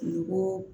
Dugu